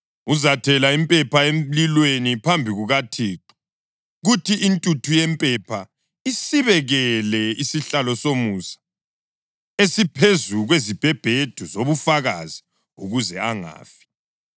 Uzathela impepha emlilweni phambi kukaThixo, kuthi intuthu yempepha isibekele isihlalo somusa esiphezu kwezibhebhedu zobufakazi ukuze angafi.